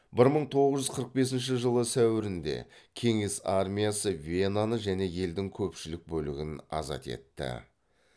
бір мың тоғыз жүз қырық бесінші жылы сәуірінде кеңес армиясы венаны және елдің көпшілік бөлігін азат етті